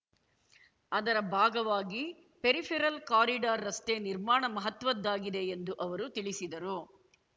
ಅದರ ಭಾಗವಾಗಿ peripheral corridor ರಸ್ತೆ ನಿರ್ಮಾಣ ಮಹತ್ವದ್ದಾಗಿದೆ ಎಂದು ಅವರು ತಿಳಿಸಿದರು